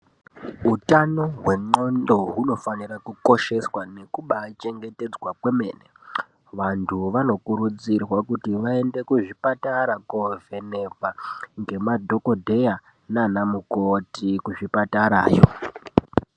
Hutano hwenxondo hunofanira kukosheswa nekubachengetedzwa kwemene. Vantu vanokurudzirwa kuti vaende kuzvipatara kovhenekwa ngemadhokodheya nana mukoti kuzvipatarayo.